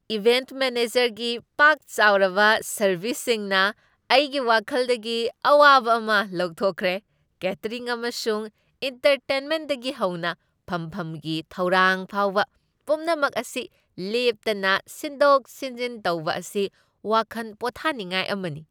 Event ꯃꯦꯅꯦꯖꯔꯒꯤ ꯄꯥꯛ ꯆꯥꯎꯔꯕ ꯁꯔꯕꯤꯁꯁꯤꯡꯅ ꯑꯩꯒꯤ ꯋꯥꯈꯜꯗꯒꯤ ꯑꯋꯥꯕ ꯑꯃ ꯂꯧꯊꯣꯛꯈꯔꯦ, ꯀꯦꯇꯔꯤꯡ ꯑꯃꯁꯨꯡ ꯑꯦꯟꯇꯔꯇꯦꯟꯃꯦꯟꯠꯇꯒꯤ ꯍꯧꯅ ꯐꯝꯐꯝꯒꯤ ꯊꯧꯔꯥꯡ ꯐꯥꯎꯕ, ꯄꯨꯝꯅꯃꯛ ꯑꯁꯤ ꯂꯦꯞꯇꯅ ꯁꯤꯟꯗꯣꯛ ꯁꯤꯟꯖꯤꯟ ꯇꯧꯕ ꯑꯁꯤ ꯋꯥꯈꯟ ꯄꯣꯊꯥꯅꯤꯡꯉꯥꯏ ꯑꯃꯅꯤ꯫